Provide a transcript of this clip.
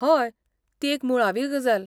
हय, ती एक मुळावी गजाल.